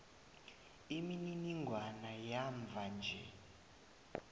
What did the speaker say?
imininingwana yamva nje